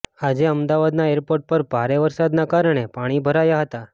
આજે અમદાવાદના એરપોર્ટ પર ભારે વરસાદના કારણે પાણી ભરાયા હતા